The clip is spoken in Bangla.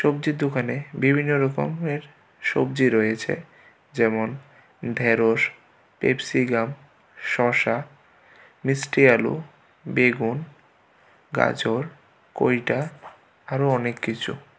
সবজির দোকানে বিভিন্ন রকমের সবজি রয়েছে যেমন ঢেঁড়স পেপসিগাম শসা মিষ্টি আলু বেগুন গাজর কৈটা আরোও অনেক কিছু.